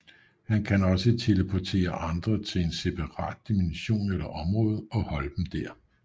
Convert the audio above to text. Han kan også teleportere andre til en separat dimension eller område og holde dem der